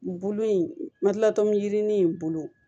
Bolo in ma dilatɔmu jirinin bolo